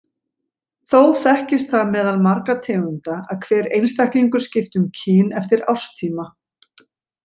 Þó þekkist það meðal margra tegunda að hver einstaklingur skipti um kyn eftir árstíma.